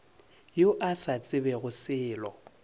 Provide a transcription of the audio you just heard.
yo a sa tsebego selo